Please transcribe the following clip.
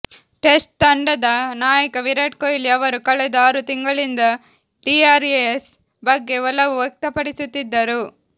test ತಂಡದ ನಾಯಕ ವಿರಾಟ್ ಕೊಹ್ಲಿ ಅವರು ಕಳೆದ ಆರು ತಿಂಗಳಿಂದ ಡಿಆರ್ಎಸ್ ಬಗ್ಗೆ ಒಲವು ವ್ಯಕ್ತಪಡಿಸುತ್ತಿದ್ದರು